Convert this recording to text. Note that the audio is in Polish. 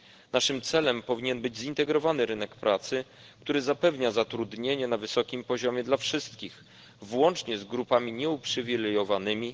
Naszym celem powinien być zintegrowany rynek pracy, który zapewnia zatrudnienie na wysokim poziomie dla wszystkich, włącznie z grupami nieuprzywilejowanymi.